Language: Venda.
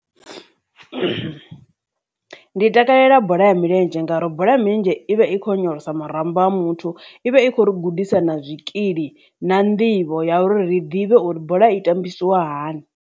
Ndi takalela bola ya milenzhe ngauri bola ya milenzhe ivha i kho onyolosa marambo a muthu ivha i kho ri gudisa na zwikili na nḓivho ya uri ri ḓivhe uri bola i tambisiwa hani.